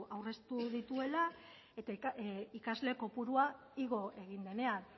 aurreztu dituela eta ikasle kopurua igo egin denean